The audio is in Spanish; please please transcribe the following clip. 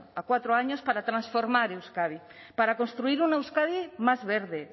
a cuatro años para transformar euskadi para construir una euskadi más verde